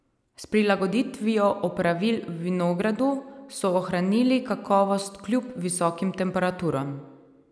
S prilagoditvijo opravil v vinogradu so ohranili kakovost kljub visokim temperaturam.